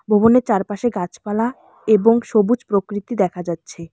ভবনের চারপাশে গাছপালা এবং সবুজ প্রকৃতি দেখা যাচ্ছে।